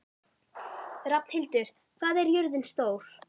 Rafnhildur, hvað er jörðin stór?